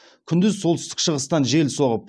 күндіз солтүстік шығыстан жел соғып